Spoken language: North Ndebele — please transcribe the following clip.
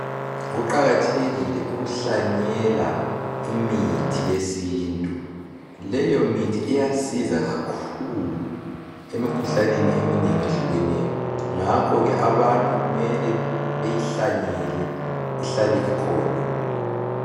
Kuqakathekile ukuhlanyela imithi yesintu. Leyo Imithi iyasiza kakhulu emikhuhlaneni eminengi ehlukeneyo . Ngakhoke abantu kumele beyihlanyele ihlale ikhona.